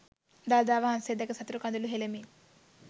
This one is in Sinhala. දළදා වහන්සේ දැක සතුටු කඳුළු හෙලමින්